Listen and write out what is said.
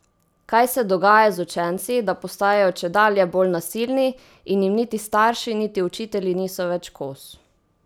Kaj se dogaja z učenci, da postajajo čedalje bolj nasilni in jim niti starši niti učitelji niso več kos?